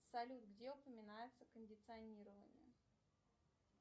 салют где упоминается кондиционирование